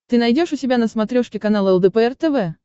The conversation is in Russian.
ты найдешь у себя на смотрешке канал лдпр тв